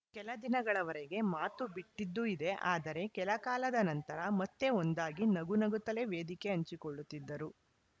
ಕೆಲದಿನಗಳವರೆಗೆ ಮಾತು ಬಿಟ್ಟಿದ್ದೂ ಇದೆ ಆದರೆ ಕೆಲಕಾಲದ ನಂತರ ಮತ್ತೆ ಒಂದಾಗಿ ನಗುನಗುತ್ತಲೇ ವೇದಿಕೆ ಹಂಚಿಕೊಳ್ಳುತ್ತಿದ್ದರು